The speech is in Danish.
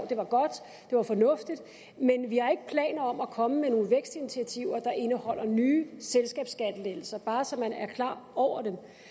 det var godt det var fornuftigt men vi har ikke planer om at komme med nogle vækstinitiativer der indeholder nye selskabsskattelettelser bare så man er klar over